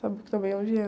Sabe também onde é?